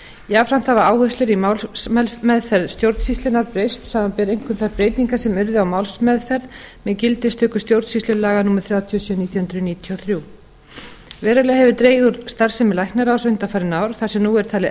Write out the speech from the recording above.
jafnframt hafa áherslur í málsmeðferð stjórnsýslunnar breyst samanber einkum þær breytingar sem urðu á málsmeðferð með gildistöku stjórnsýslulaga númer þrjátíu og sjö nítján hundruð níutíu og þrjú verulega hefur dregið úr starfsemi læknaráðs undanfarin ár þar sem nú er talið